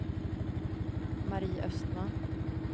Marie Östman